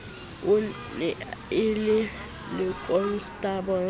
e ne e le lekonstabole